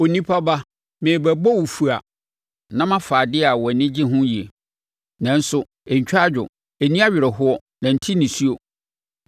“Onipa ba, merebɛbɔ wo fua na mafa adeɛ a wʼani gye ho yie. Nanso ɛntwa adwo, ɛnni awerɛhoɔ na ɛnnte nisuo.